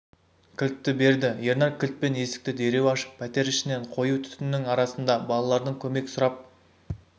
кілтті берді ернар кілтпен есікті дереу ашып пәтер ішінен қою түтіннің арасында балалардың көмек сұрап